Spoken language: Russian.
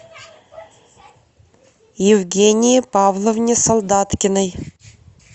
евгении павловне солдаткиной